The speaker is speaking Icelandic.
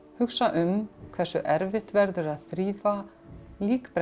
hugsa um hversu erfitt verður að þrífa